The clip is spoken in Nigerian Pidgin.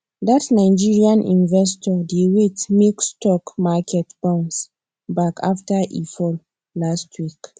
that nigerian investor dey wait make stock market bounce back after e fall last week